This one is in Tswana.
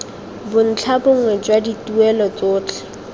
bontlha bongwe jwa dituelo tsotlhe